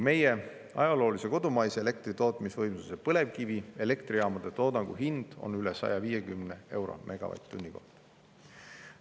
Meie ajaloolise kodumaise elektritootmis põlevkivi elektrijaamade toodangu hind on üle 150 euro megavatt-tunni kohta.